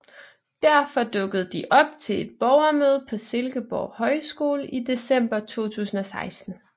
Derfor dukkede de op til et borgermøde på Silkeborg Højskole i december 2016